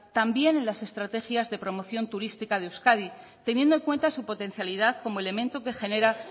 también en las estrategias de promoción turística de euskadi teniendo en cuenta su potencialidad como elemento que genera